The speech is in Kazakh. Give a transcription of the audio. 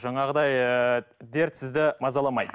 жаңағыдай ыыы дерт сізді мазаламайды